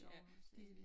I Aarhus dér ja